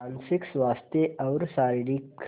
मानसिक स्वास्थ्य और शारीरिक स्